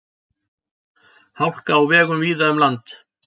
Hálka á vegum víða um land